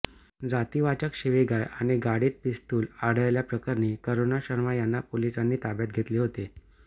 जातीवाचक शिवीगाळ आणि गाडीत पिस्तूल आढळल्याप्रकरणी करुणा शर्मा यांना पोलिसांनी ताब्यात घेतले होते